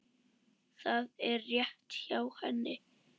Það er rétt hjá henni.